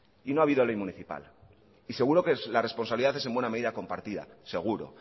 y no ha habido ley municipal y seguro que la responsabilidad es en buena medida compartida seguro